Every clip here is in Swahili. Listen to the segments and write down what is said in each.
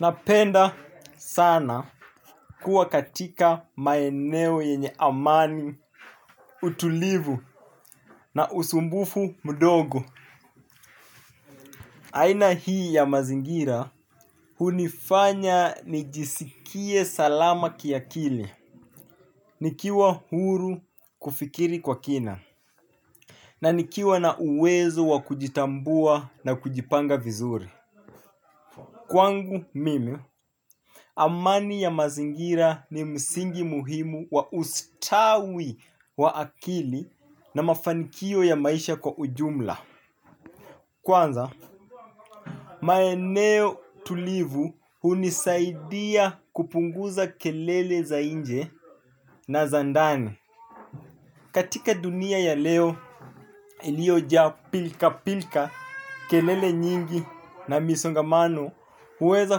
Na penda sana kuwa katika maeneo yenye amani, utulivu na usumbufu mdogo. Aina hii ya mazingira hunifanya nijisikie salama kiakili. Nikiwa huru kufikiri kwa kina na nikiwa nauwezo wa kujitambua na kujipanga vizuri. Kwangu mimi, amani ya mazingira ni msingi muhimu wa ustawi wa akili na mafanikio ya maisha kwa ujumla. Kwanza, maeneo tulivu hunisaidia kupunguza kelele za nje na zandani. Katika dunia ya leo iliojaa pilkapilka, kelele nyingi na msongamano huweza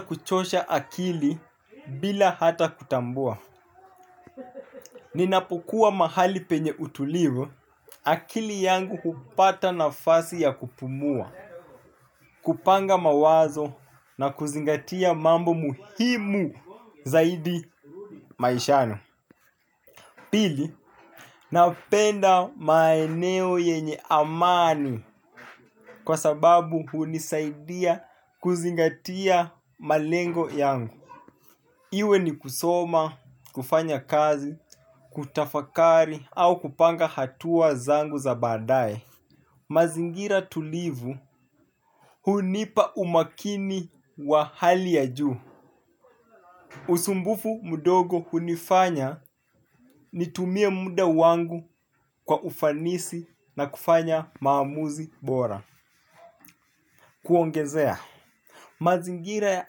kuchosha akili bila hata kutambua. Ninapokuwa mahali penye utulivu akili yangu hupata nafasi ya kupumua, kupanga mawazo na kuzingatia mambo muhimu zaidi maishani. Pili, napenda maeneo yenye amani kwa sababu hunisaidia kuzingatia malengo yangu. Iwe ni kusoma, kufanya kazi, kutafakari au kupanga hatua zangu za baadaye. Mazingira tulivu hunipa umakini wa hali ya juu. Usumbufu mdogo hunifanya nitumie muda wangu kwa ufanisi na kufanya maamuzi bora. Kuongezea, mazingira ya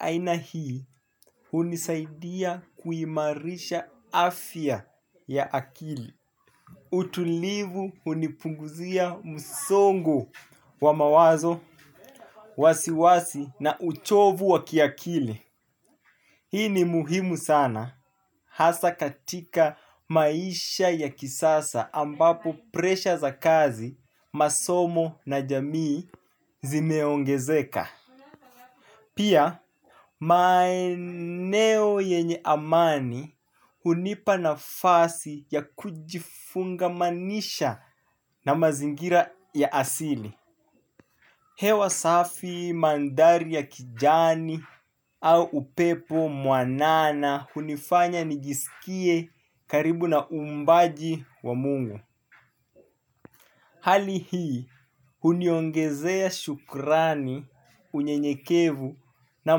aina hii hunisaidia kuimarisha afya ya akili utulivu hunipunguzia msongo wa mawazo, wasiwasi na uchovu wa kiakili. Hii ni muhimu sana hasa katika maisha ya kisasa ambapo presha za kazi, masomo na jamii zimeongezeka. Pia maeneo yenye amani hunipa nafasi ya kujifungamanisha na mazingira ya asili. Hewa safi mandhari ya kijani au upepo mwanana hunifanya nigisikie karibu na umbaji wa mungu. Hali hii huniongezea shukrani unyenyekevu na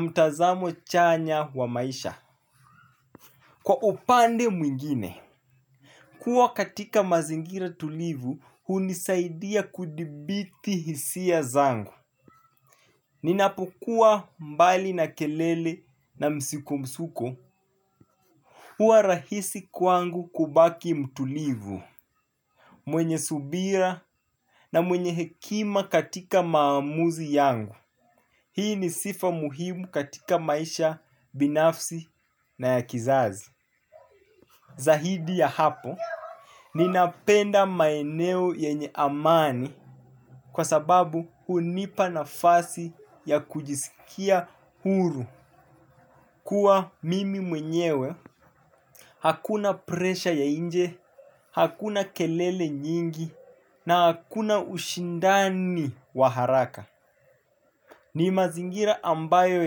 mtazamo chanya kwa maisha. Kwa upande mwingine, kuwa katika mazingira tulivu hunisaidia kudhibiti hisia zangu. Ninapokuwa mbali na kelele na msukosuko huwa rahisi kwangu kubaki mtulivu mwenye subira na mwenye hekima katika maamuzi yangu. Hii ni sifa muhimu katika maisha binafsi na ya kizazi. Zaidi ya hapo, ninapenda maeneo yenye amani kwa sababu hunipa nafasi ya kujisikia huru kuwa mimi mwenyewe, hakuna presha ya nje, hakuna kelele nyingi na hakuna ushindani wa haraka. Ni mazingira ambayo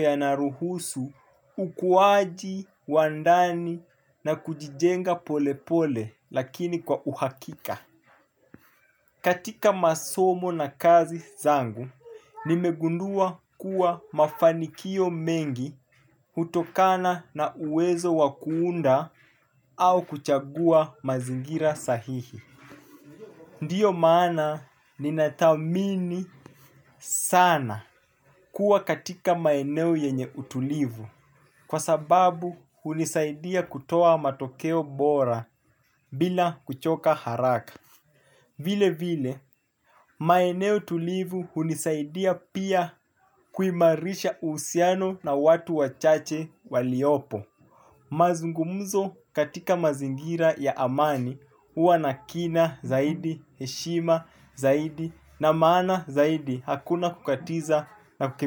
yanaruhusu ukuwaji, wandani na kujijenga pole pole lakini kwa uhakika. Katika masomo na kazi zangu, nimegundua kuwa mafanikio mengi hutokana na uwezo wa kuunda au kuchagua mazingira sahihi. Ndiyo maana ni nadhamini sana kuwa katika maeneo yenye utulivu kwa sababu hunisaidia kutoa matokeo bora bila kuchoka haraka. Vile vile maeneo tulivu hunisaidia pia kuimarisha uhusiano na watu wachache waliopo. Mazungumzo katika mazingira ya amani huwa na kina zaidi, heshima zaidi na maana zaidi, hakuna kukatiza na ku.